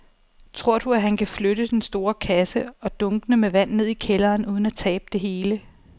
Tror du, at han kan flytte den store kasse og dunkene med vand ned i kælderen uden at tabe det hele?